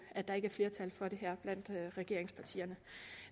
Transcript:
at der ikke er flertal for det her blandt regeringspartierne